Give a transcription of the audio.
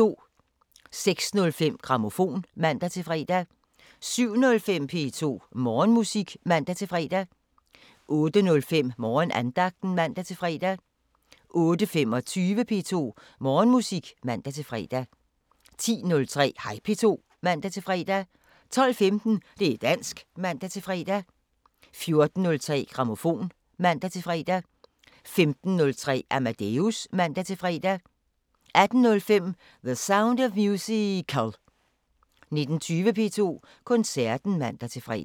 06:05: Grammofon (man-fre) 07:05: P2 Morgenmusik (man-fre) 08:05: Morgenandagten (man-fre) 08:25: P2 Morgenmusik (man-fre) 10:03: Hej P2 (man-fre) 12:15: Det´ dansk (man-fre) 14:03: Grammofon (man-fre) 15:03: Amadeus (man-fre) 18:05: The Sound of Musical 19:20: P2 Koncerten (man-fre)